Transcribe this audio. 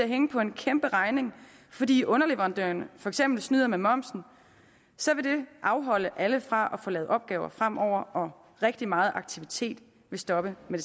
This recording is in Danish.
hænge på en kæmperegning fordi underleverandørerne for eksempel snyder med momsen så vil det afholde alle fra at få lavet opgaver fremover og rigtig meget aktivitet vil stoppe med